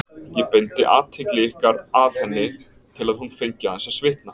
Ég beindi athygli ykkar að henni til að hún fengi aðeins að svitna.